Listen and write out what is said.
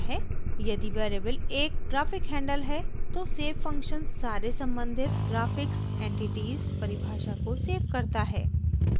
यदि वेरिएबल एक graphic handle है तो save फंक्शन सारे सम्बंधित graphics_entities परिभाषा को सेव करता है